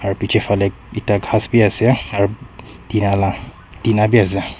Aro bechey phale ekta khass beh ase aro tina la dina beh ase.